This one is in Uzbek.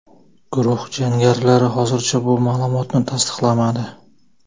Guruh jangarilari hozircha bu ma’lumotni tasdiqlamadi.